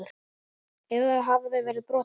Eða hafa þau verið brotin?